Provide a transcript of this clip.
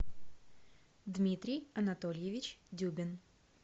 дмитрий анатольевич дюбин